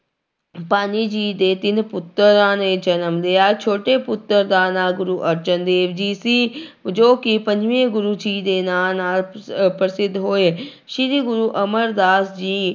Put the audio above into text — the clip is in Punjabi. ਭਾਨੀ ਜੀ ਦੇ ਤਿੰਨ ਪੁੱਤਰਾਂ ਨੇ ਜਨਮ ਲਿਆ, ਛੋਟੇ ਪੁੱਤਰ ਦਾ ਨਾਂ ਗੁਰੂ ਅਰਜਨ ਦੇਵ ਜੀ ਸੀ ਜੋ ਕਿ ਪੰਜਵੇਂ ਗੁਰੂ ਜੀ ਦੇ ਨਾਂ ਨਾਲ ਅਹ ਪ੍ਰਸਿੱਧ ਹੋਏ ਸ੍ਰੀ ਗੁਰੂ ਅਮਰਦਾਸ ਜੀ